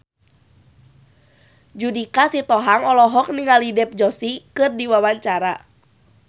Judika Sitohang olohok ningali Dev Joshi keur diwawancara